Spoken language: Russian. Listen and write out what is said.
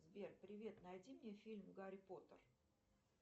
сбер привет найди мне фильм гарри поттер